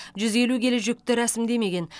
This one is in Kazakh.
жүз елу келі жүкті рәсімдемеген